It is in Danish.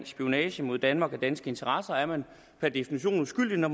spionage mod danmark og danske interesser er man per definition uskyldig når